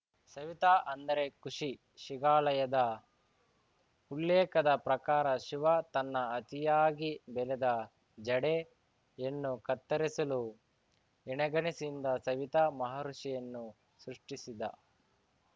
ಸವಿತಾ ಅಂದರೆ ಖುಷಿ ಶಿಗಾಲಯದ ಉಲ್ಲೇಖದ ಪ್ರಕಾರ ಶಿವ ತನ್ನ ಅತಿಯಾಗಿ ಬೆಳೆದ ಜಡೆಯನ್ನು ಕತ್ತರಿಸಲು ಎಣೆಗಣ್ಣಿಸಿನಿಂದ ಸವಿತಾ ಮಹರ್ಷಿಯನ್ನು ಸೃಷ್ಟಿಸಿದ